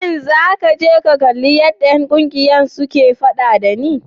Shin za ka je ka kalli yadda ’yan kungiyar suke fada da ni?